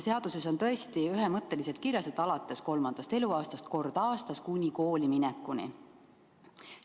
Seaduses on tõesti ühemõtteliselt kirjas, et seda tuleb teha alates kolmandast eluaastast kord aastas kuni kooliminekuni.